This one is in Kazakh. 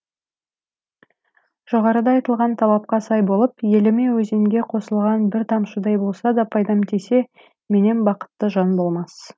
жоғарыда айтылған талапқа сай болып еліме өзенге қосылған бір тамшыдай болса да пайдам тисе меннен бақытты жан болмас